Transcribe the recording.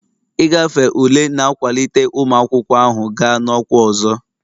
Ịgafe ule na-akwalite ụmụ akwụkwọ ahụ gaa na ọkwa ọzọ.